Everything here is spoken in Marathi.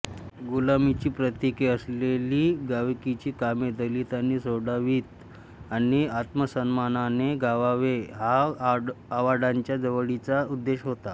गुलामीची प्रतीके असलेली गावकीची कामे दलितांनी सोडावीत आणि आत्मसन्मानाने जगावे हा आवाडांच्या चळवळींचा उद्देश होता